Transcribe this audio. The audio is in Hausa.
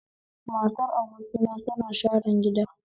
Matar abokina tana sharan gida